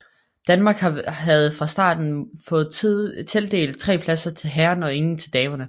Danmark havde fra starten fået tildelt tre pladser til herrerne og ingen til damerne